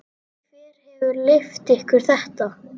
Hver hefur leyft ykkur þetta?